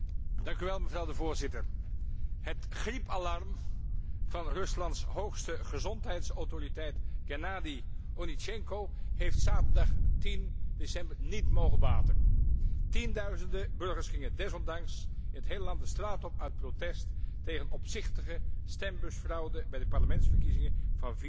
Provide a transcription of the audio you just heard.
Voorzitter, het griepalarm van Ruslands hoogste gezondheidsautoriteit Gennady Onischenko heeft zaterdag 10 december niet mogen baten. Tienduizenden burgers gingen desondanks in het hele land de straat op uit protest tegen opzichtige stembusfraude bij de parlementsverkiezingen van 4 december.